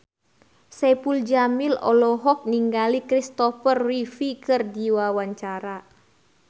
Saipul Jamil olohok ningali Kristopher Reeve keur diwawancara